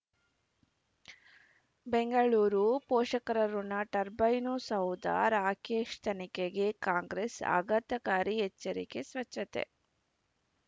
ಬೆಂಗಳೂರು ಪೋಷಕರಋಣ ಟರ್ಬೈನು ಸೌಧ ರಾಕೇಶ್ ತನಿಖೆಗೆ ಕಾಂಗ್ರೆಸ್ ಆಘಾತಕಾರಿ ಎಚ್ಚರಿಕೆ ಸ್ವಚ್ಛತೆ